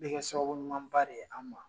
Bɛ kɛ sababu ɲumanba de ye an ma.